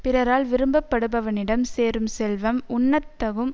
பிறரால் விரும்பப்படுபவனிடம் சேரும் செல்வம் உண்ணத் தகும்